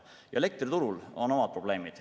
Elektriturul on omad probleemid.